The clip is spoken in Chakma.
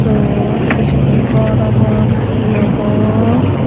ott skul gor obo na he obo.